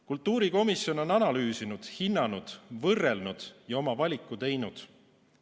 Kultuurikomisjon on analüüsinud, hinnanud, võrrelnud ja oma valiku teinud.